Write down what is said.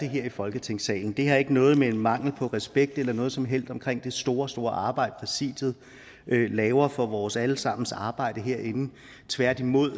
her i folketingssalen det har ikke noget at gøre med mangel på respekt eller noget som helst andet omkring det store store arbejde præsidiet laver for vores alle sammens arbejde herinde tværtimod